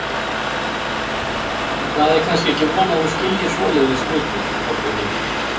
Það er kannski ekki von þú skiljir svoleiðis hluti, Kobbi minn.